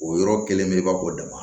O yɔrɔ kelen belebeleba bɔ dama